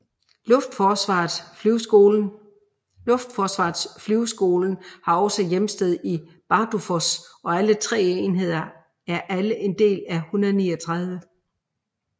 Luftforsvarets flyveskolen har også hjemsted i Bardufoss og alle 3 enheder er alle en del af 139